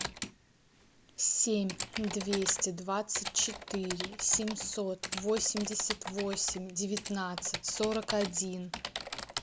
семь двести двадцать четыре семьсот восемьдесят восемь девятнадцать сорок один